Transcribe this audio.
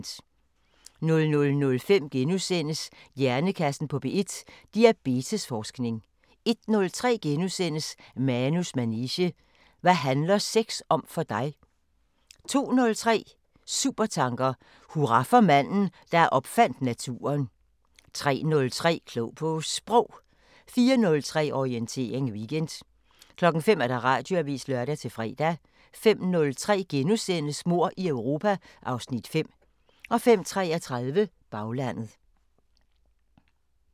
00:05: Hjernekassen på P1: Diabetes-forskning * 01:03: Manus manege: Hvad handler sex om for dig? * 02:03: Supertanker: Hurra for manden, der opfandt naturen 03:03: Klog på Sprog 04:03: Orientering Weekend 05:00: Radioavisen (lør-fre) 05:03: Mord i Europa (Afs. 5)* 05:33: Baglandet